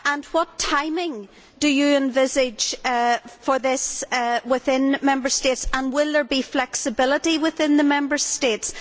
What timing do you envisage for this within Member States and will there be flexibility within the Member States?